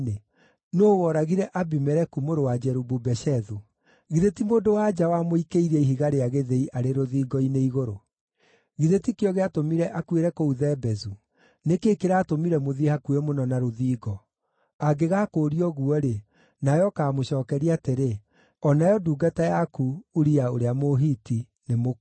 Nũũ woragire Abimeleku mũrũ wa Jerubu-Beshethu? Githĩ ti mũndũ-wa-nja wamũikĩirie ihiga rĩa gĩthĩi arĩ rũthingo-inĩ igũrũ? Githĩ ti kĩo gĩatũmire akuĩre kũu Thebezu? Nĩ kĩĩ kĩratũmire mũthiĩ hakuhĩ mũno na rũthingo?’ Angĩgakũũria ũguo-rĩ, nawe ũkaamũcookeria atĩrĩ, ‘O nayo ndungata yaku, Uria ũrĩa Mũhiti nĩmũkuũ.’ ”